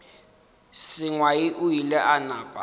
sengwai o ile a napa